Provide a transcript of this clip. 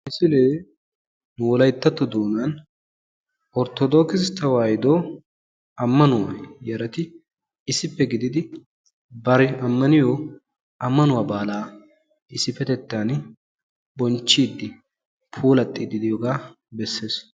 Misilee wolayttatto doonaan orttodokkisse tewahiddo ammanuwa yarati issippe gididi bari ammaniyo ammanuwa baalaa issippetettaan bonchchidi puulattidi de'iyogaa bessees.